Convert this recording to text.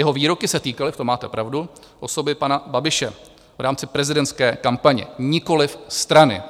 Jeho výroky se týkaly - v tom máte pravdu - osoby pana Babiše v rámci prezidentské kampaně, nikoliv strany.